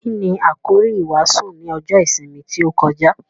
Kíni àkòrí ìwàásù ní ọjọ́ ìsinmi tí ó kọjá?